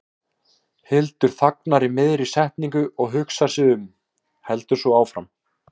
Hildur þagnar í miðri setningu og hugsar sig um, heldur svo áfram